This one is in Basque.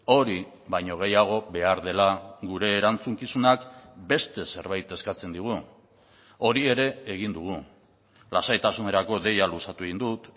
hori baino gehiago behar dela gure erantzukizunak beste zerbait eskatzen digu hori ere egin dugu lasaitasunerako deia luzatu egin dut